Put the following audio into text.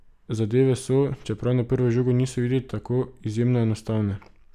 Zadeve so, čeprav na prvo žogo niso videti tako, izjemno enostavne.